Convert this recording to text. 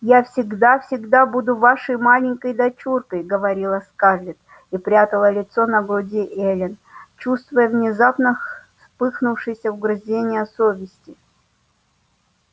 я всегда всегда буду вашей маленькой дочуркой говорила скарлетт и прятала лицо на груди эллин чувствуя внезапно вспыхнувшие угрызения совести